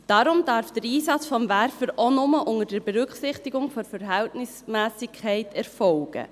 Deshalb darf der Einsatz des Werfers auch nur unter Berücksichtigung der Verhältnismässigkeit erfolgen.